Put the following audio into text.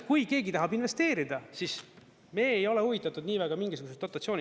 Kui keegi tahab investeerida, siis me ei ole huvitatud nii väga mingisugusest dotatsioonist.